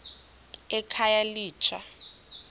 ekhayelitsha